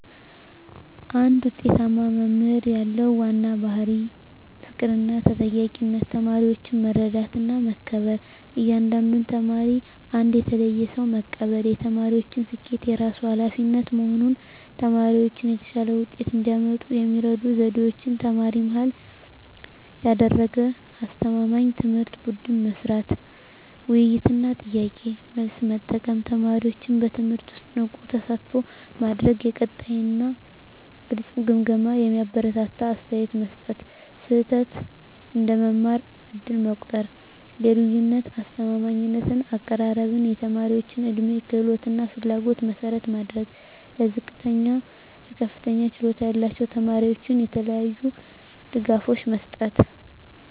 አንድ ውጤታማ መምህር ያለው ዋና ባሕርይ ፍቅርና ተጠያቂነት ተማሪዎችን መረዳትና መከበር እያንዳንዱን ተማሪ እንደ ተለየ ሰው መቀበል የተማሪዎችን ስኬት የራሱ ኃላፊነት መሆን ተማሪዎች የተሻለ ውጤት እንዲያመጡ የሚረዱ ዘዴዎች ተማሪ-መሃል ያደረገ አስተማማኝ ትምህርት ቡድን ሥራ፣ ውይይት እና ጥያቄ–መልስ መጠቀም ተማሪዎችን በትምህርቱ ውስጥ ንቁ ተሳትፎ ማድረግ የቀጣይ እና ግልጽ ግምገማ የሚያበረታታ አስተያየት መስጠት ስህተት እንደ መማር ዕድል መቆጠር የልዩነት አስተማማኝ አቀራረብ የተማሪዎች ዕድሜ፣ ክህሎት እና ፍላጎት መሠረት ማድረግ ለዝቅተኛ እና ለከፍተኛ ችሎታ ያላቸው ተማሪዎች የተለያዩ ድጋፎች መስጠት